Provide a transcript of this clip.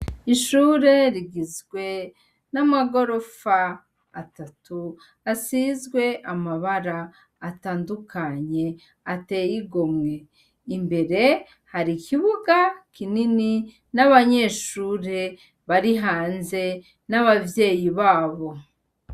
Ishure rigizwe namagorofa atatu asizwe amabara atandukanye ateye igomwe imbere hari ikibuga kinini nabanyeshure bari hanze nabavyeyi babo